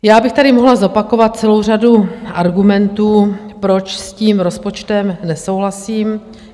Já bych tady mohla zopakovat celou řadu argumentů, proč s tím rozpočtem nesouhlasím.